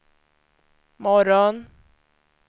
morgon